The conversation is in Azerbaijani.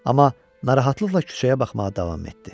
Amma narahatlıqla küçəyə baxmağa davam etdi.